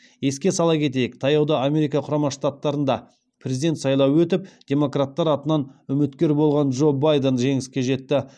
еске сала кетейік таяуда америка құрама штаттарында президент сайлауы өтіп демократтар атынан үміткер болған джо байден жеңіске жетті